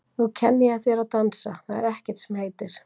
Nú kenni ég þér að dansa, það er ekkert sem heitir!